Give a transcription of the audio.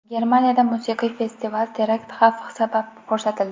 Germaniyada musiqiy festival terakt xavfi sabab to‘xtatildi.